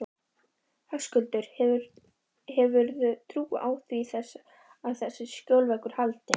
Höskuldur: Hefurðu trú á því að þessi skjólveggur haldi?